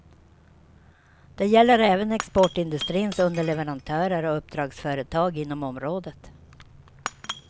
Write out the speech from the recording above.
Det gäller även exportindustrins underleverantörer och uppdragsföretag inom området.